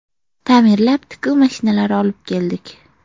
Ta’mirlab, tikuv mashinalari olib keldik.